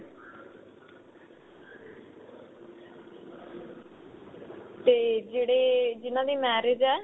ਤੇ ਜਿਹੜੇ ਜਿਨ੍ਹਾਂ ਦੀ marriage ਏ